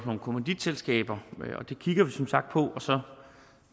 om kommanditselskaber og det kigger vi som sagt på så